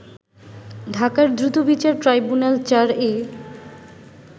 ঢাকার দ্রুতবিচার ট্রাইব্যুনাল-৪ এ